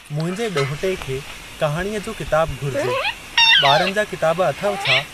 मुंहिंजे ॾोहटे खे कहाणीअ जो किताबु घुरिजे। ॿारनि जा किताब अथव छा?